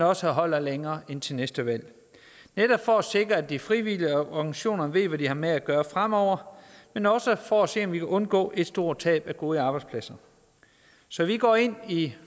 også holder længere end til næste valg netop for at sikre at de frivillige organisationer ved hvad de har med at gøre fremover men også for at se om vi kan undgå et stort tab af gode arbejdspladser så vi går ind i